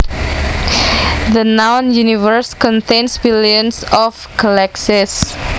The known universe contains billions of galaxies